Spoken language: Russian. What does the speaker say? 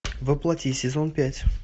во плоти сезон пять